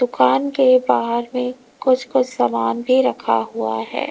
दुकान के बाहर में कुछ कुछ समान भी रखा हुआ है।